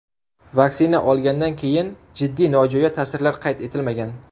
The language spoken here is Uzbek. Vaksina olgandan keyin jiddiy nojo‘ya ta’sirlar qayd etilmagan.